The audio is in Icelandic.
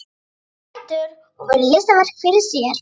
Rís á fætur og virðir listaverkið fyrir sér.